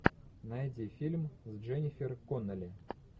найди фильм с дженнифер коннелли